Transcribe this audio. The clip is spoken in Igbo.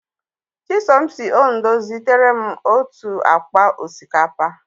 Chisom si Ondo zitere m otu akpa osikapa.